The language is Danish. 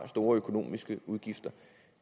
store økonomiske udgifter